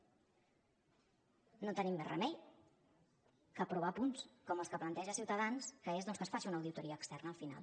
no tenim més remei que aprovar punts com els que planteja ciutadans que és doncs que es faci una auditoria externa al final